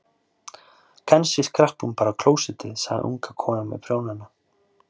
Kannski skrapp hún bara á klósettið, sagði unga konan með prjónana.